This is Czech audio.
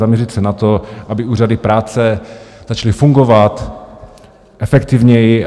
Zaměřit se na to, aby úřady práce začaly fungovat efektivněji.